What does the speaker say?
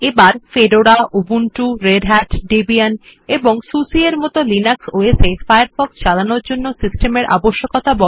এগুলি হল Fedora Ubuntu Red Hat Debian এবং সুসে এর মত লিনাক্স OS এ ফায়ারফক্ষ চালানোর জন্য সিস্টেমের আবশ্যকতা